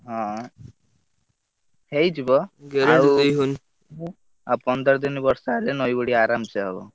ହଁ ହେଇଯିବ ଆଉ ଆଉ ପନ୍ଦର ଦିନ ବର୍ଷା ହେଲେ ନଇ ବଢି ଆରାମ ସେ ହବ।